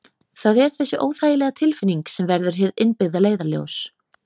Það er þessi óþægilega tilfinning sem verður hið innbyggða leiðarljós.